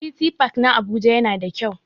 City park na Abuja yana da kyau.